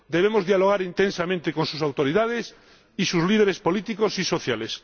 Debemos dialogar intensamente con sus autoridades y sus líderes políticos y sociales.